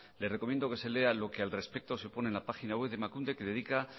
le recomiendo que se lea lo que al respecto se pone en la página web de emakunde que dedica